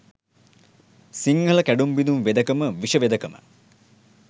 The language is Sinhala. සිංහල කැඩුම් බිඳුම් වෙදකම විෂ වෙදකම